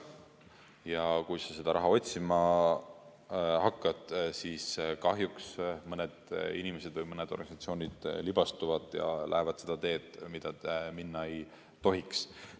Ja kui seda raha otsima hakatakse, siis kahjuks mõni inimene või organisatsioon libastub ja läheb seda teed, mida minna ei tohiks.